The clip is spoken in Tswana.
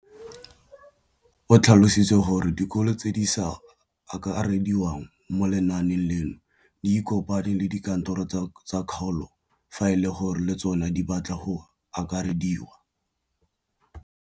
O tlhalositse gore dikolo tse di sa akarediwang mo lenaaneng leno di ikopanye le dikantoro tsa kgaolo fa e le gore le tsona di batla go akarediwa.